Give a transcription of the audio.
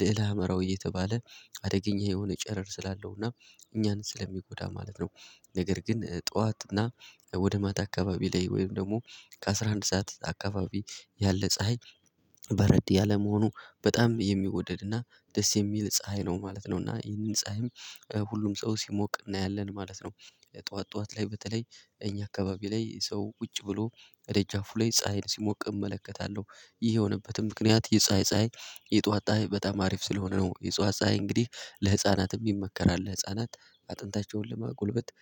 ልዕለ ሀመራዊ እየተባለ አደገኛ የሆነ ጨረር ስላለው እናም እኛን ስለሚጎዳ ማለት ነው። ነገር ግን ጠዋት እና ወደ ማታ አካባቢ ላይ ወይም ደግሞ ከአሥራ አንድ ሰዓት አካባቢ ያለ ፀሀይ በረድ ያለ መሆኑ በጣም የሚወደድ እና ደስ የሚል ፀሀይ ነው ማለት ነው። እና ይህንን ፀሀይም ሁሉም ሰው ሲሞቅ እናያለን ማለት ነው። ጠዋት ጠዋት ላይ በተለይ እኛ አካባቢ ላይ ሰው ቁጭ ብሎ ከደጃፉ ላይ ፀሀይን ሲሞቅ እመለከታለሁ ይህ የሆነበትም ምክንያት የፀሀይ ፀሀይ የጧት ፀሀይ በጣም አሪፍ ስለሆነ ነው። የጽዋት ፀሀይ እንግዲህ ለህፃናትም ይመከራል ለህፃናት አጥንታቸውን ለማጎልበት